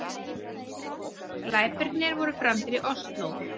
Glæpirnir voru framdir í Ósló